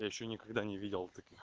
ещё никогда не видел